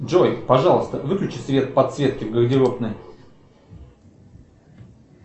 джой пожалуйста выключи свет подсветки в гардеробной